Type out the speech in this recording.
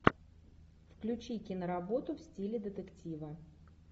включи киноработу в стиле детектива